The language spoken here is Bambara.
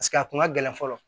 Paseke a kun ka gɛlɛn fɔlɔ